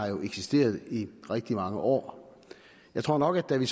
jo eksisteret i rigtig mange år jeg tror nok at vi